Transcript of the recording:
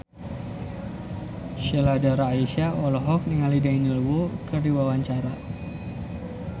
Sheila Dara Aisha olohok ningali Daniel Wu keur diwawancara